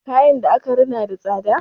Kayan da aka rina yana da tsada.